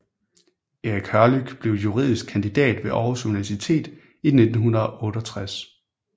Erik Hørlyck blev juridisk kandidat ved Aarhus Universitet i 1968